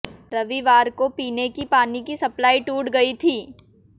रविवार को पीने की पानी की सप्लाई टूट गई थी